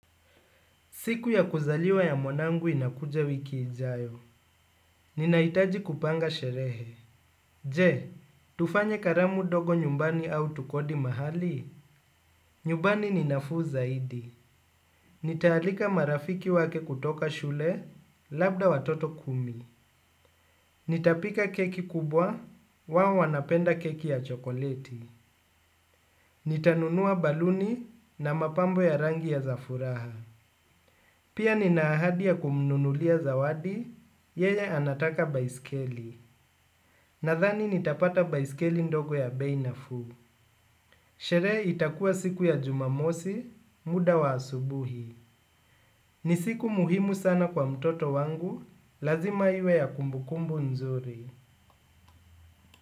Siku ya kuzaliwa ya mwanangu inakuja wiki ijayo. Ninahitaji kupanga sherehe. Je, tufanye karamu dogo nyumbani au tukodi mahali? Nyumbani ni nafuu zaidi. Nitaalika marafiki wake kutoka shule, labda watoto kumi. Nitapika keki kubwa, wao wanapenda keki ya chokoleti. Nitanunua baluni na mapambo ya rangi ya za furaha. Pia nina ahadi ya kumnunulia zawadi, yeye anataka baiskeli. Nadhani nitapata baiskeli ndogo ya bei nafuu. Sherehe itakuwa siku ya jumamosi, muda wa asubuhi. Ni siku muhimu sana kwa mtoto wangu, lazima iwe ya kumbukumbu nzuri.